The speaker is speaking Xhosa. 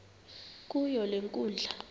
kuyo le nkundla